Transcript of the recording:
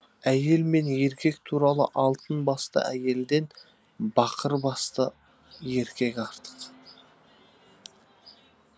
әйел мен еркек туралы алтын басты әйелден бақыр басты еркек артық